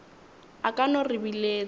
a ka no re biletša